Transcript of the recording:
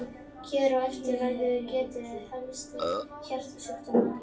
Hér á eftir verður getið helstu hjartasjúkdóma.